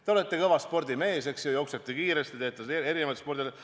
Te olete kõva spordimees, jooksete kiiresti, teete erinevaid spordialasid.